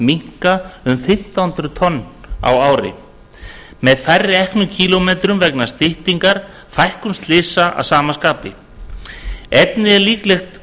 minnka um fimmtán hundruð tonn á ári með færri eknum kílómetrum vegna styttingar fækkar slysum að sama skapi einnig er líklegt